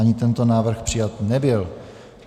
Ani tento návrh přijat nebyl.